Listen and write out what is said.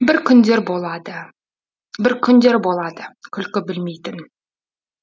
бір күндер болады бір күндер болады күлкі білмейтін